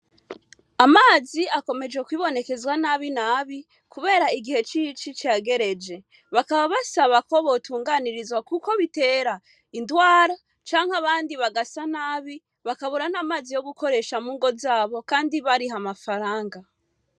Amazi akomeje kwibonekezwa nabi nabi, kubera igihe cici cagereje bakaba basaba ko botunganirizwa, kuko bitera indwara canke abandi bagasa nabi bakabura n'amazi yo gukoresha mungo zabo, kandi bariha amafaranga.